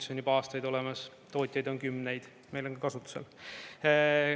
See on juba aastaid olemas, tootjaid on kümneid, meil on kasutusel.